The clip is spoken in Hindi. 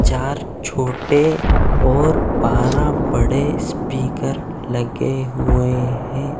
चार छोटे और बारा बड़े स्पीकर लगे हुए हैं।